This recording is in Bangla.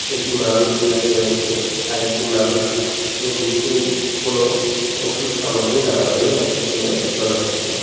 একটি মানুষ বসে রয়েছে আর একটি মানুষ যে নিশ্চয়ই কোনো ওষুধ সামগ্রী নেওয়ার জন্য এসেছে বলে মনে হচ্ছে।